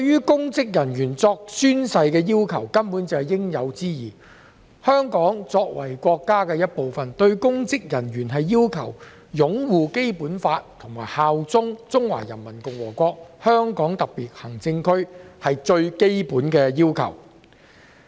公職人員宣誓根本是應有之義。香港作為國家的一部分，要求公職人員擁護《基本法》和效忠中華人民共和國香港特別行政區，是最基本的要求。